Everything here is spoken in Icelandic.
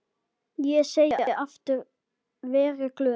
Ég segi aftur: Verið glöð.